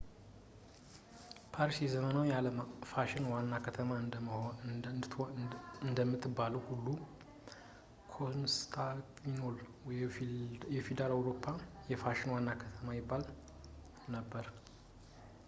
ፓሪስ የዘመናዊው ዓለም የፋሽን ዋና ከተማ እንደምትባለው ሁላ ኮንስታንቲኖፕል የፊውዳል አውሮፓ የፋሽን ዋና ከተማ ይባል ነበር